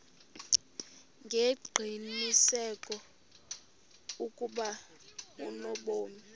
ngengqiniseko ukuba unobomi